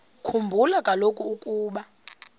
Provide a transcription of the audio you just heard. khumbula kaloku ukuba